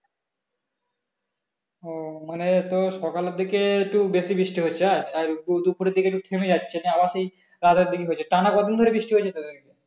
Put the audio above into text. ও মানে তোর সকালের দিকে একটু বেশি বৃষ্টি হচ্ছে আজ আর দুপুরের দিকে একটু থেমে যাচ্ছে নিয়ে আবার সেই রাতের দিকে হচ্ছে টানা কদিন ধরে বৃষ্টি হচ্ছে তোদের ওইখানে?